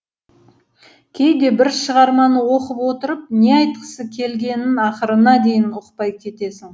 кейде бір шығарманы оқып отырып не айтқысы келгенін ақырына дейін ұқпай кетесің